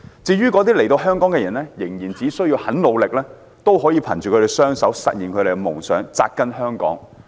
至於移居香港的人，只要他們肯努力，便可以憑他們一雙手實現夢想，扎根香港。